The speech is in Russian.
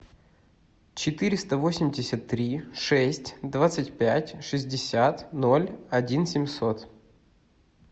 четыреста восемьдесят три шесть двадцать пять шестьдесят ноль один семьсот